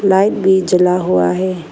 Light भी जला हुआ है।